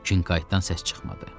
Kinqaytdan səs çıxmadı.